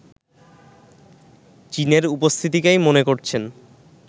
চীনের উপস্থিতিকেই মনে করছেন